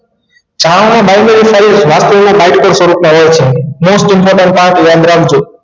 સ્વરૂપ ના હોય છે most important part યાદ રાખજો